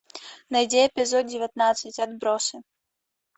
найди эпизод девятнадцать отбросы